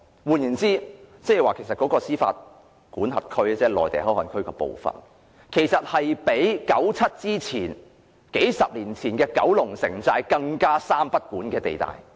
換言之，內地口岸區的司法管轄區將會是較1997年前、數十年前的九龍城寨更"三不管"的地帶。